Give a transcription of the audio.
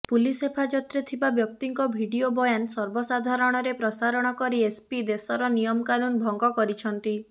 police ହେପାଜତରେ ଥିବା ବ୍ୟକ୍ତିଙ୍କ ଭିଡିଓ ବୟାନ ସର୍ବସାଧାରଣରେ ପ୍ରସାରଣ କରି ଏସପି ଦେଶର ନିୟମକାନୁନ ଭଙ୍ଗ କରିଛନ୍ତି